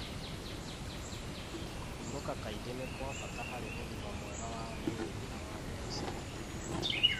Kũhurũka kaingĩ nĩ kwa bata harĩ ũgima mwega wa mwĩrĩ na wa meciria.